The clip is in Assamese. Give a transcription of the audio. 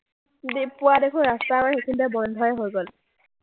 পোৱা দেখোন ৰাস্তা আমাৰ সেইখিনিতে বন্ধই হৈ গ’ল।